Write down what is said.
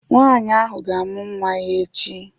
Nwaanyị ahụ ga-amụ nwa ya echi